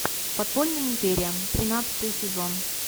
подпольная империя тринадцатый сезон